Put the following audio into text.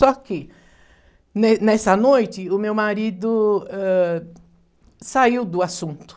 Só que, nê nessa noite, o meu marido, ãh, saiu do assunto.